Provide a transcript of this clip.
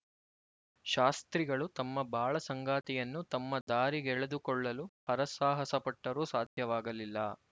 ಶಾಸ್ತ್ರಿಗಳು ತಮ್ಮ ಬಾಳಸಂಗಾತಿಯನ್ನು ತಮ್ಮ ದಾರಿಗೆಳೆದುಕೊಳ್ಳಲು ಹರಸಾಹಸ ಪಟ್ಟರೂ ಸಾಧ್ಯವಾಗಲಿಲ್ಲ